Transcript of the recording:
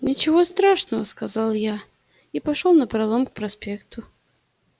ничего страшного сказал я и пошёл напролом к проспекту